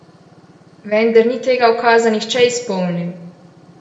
Vendar ni tega ukaza nihče izpolnil.